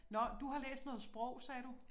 Nåh du har læst noget sprog sagde du